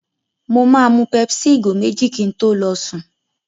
Mo máa mu pepsi ìgò méjì kí n tó lọ sùn.